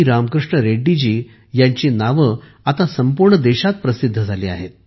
रामकृष्ण रेड्डी जी यांची नावे आता संपूर्ण देशात प्रसिद्ध झाली आहेत